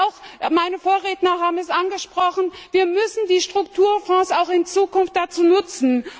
Und meine Vorredner haben es angesprochen wir müssen die Strukturfonds auch in Zukunft dazu nutzen.